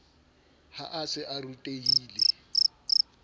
ha a se a rutehile